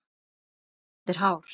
og gult undir hár.